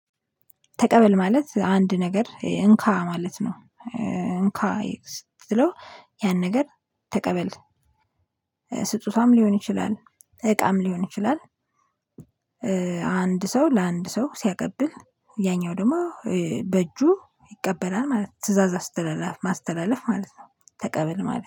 ተቀበል ማለት አንድ ነገር እንካ ማለት ነው እንካ ስትለው ያን ነገር ተቀበል ስጦታም ሊሆን ይችላል፣ እቃም ሊሆን ይችላል ሰው ለአንድ ሰው ሲያቀብል ያኛው ደግሞ በእጁ ይቀበላል ማለት ነው ትእዛዝ አስተላለፍ ማስተላለፍ ማለት ነው ተቀበል ማለት።